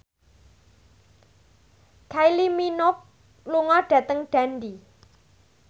Kylie Minogue lunga dhateng Dundee